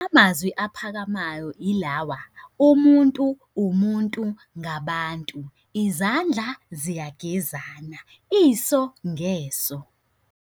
Amazwi aphakamayo ilawa. Umuntu, umuntu ngabantu. Izandla ziyagezana. Iso ngeso.